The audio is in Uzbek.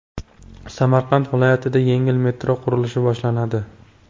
Samarqand viloyatida yengil metro qurilishi boshlanadi.